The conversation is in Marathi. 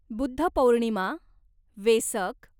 बुद्ध पौर्णिमा, वेसक